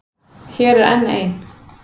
Hér er enn ein.